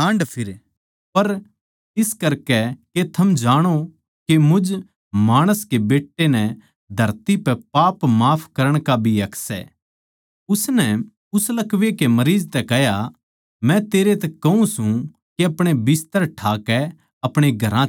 पर इस करकै के थम जाणो के मुझ माणस कै बेट्टे नै धरती पै पाप माफ करण का भी हक सै उसनै उस लकवै के मरीज तै कह्या मै तेरै तै कहूँ सूं के अपणे बिस्तर ठाकै अपणे घरां चल्या जा